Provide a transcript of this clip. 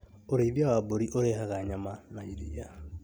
Urĩithia wa mbũri ũrehaga nyama na iria